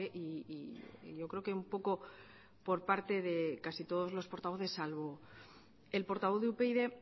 y yo creo que un poco por parte de casi todos los portavoces salvo el portavoz de upyd